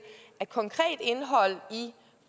at konkret indhold i